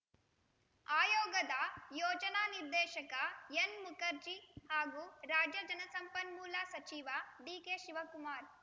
ಆಯೋಗದ ಯೋಜನಾ ನಿರ್ದೇಶಕ ಎನ್‌ ಮುಖರ್ಜಿ ಹಾಗೂ ರಾಜ್ಯ ಜಲಸಂಪನ್ಮೂಲ ಸಚಿವ ಡಿಕೆ ಶಿವಕುಮಾರ್‌